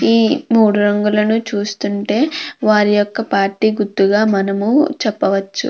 ఈ మూడు రంగులను చూస్తుంటే వారి యొక్క పార్టీ గుర్తుగా మనము చెప్పవచ్చు.